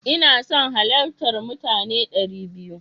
Ina son halartar mutane dari biyu.